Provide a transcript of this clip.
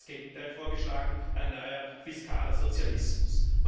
Hier wird genau das Gegenteil vorgeschlagen ein neuer fiskaler Sozialismus.